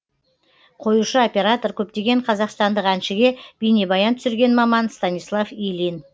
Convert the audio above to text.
қоюшы оператор көптеген қазақстандық әншіге бейнебаян түсірген маман станислав ильин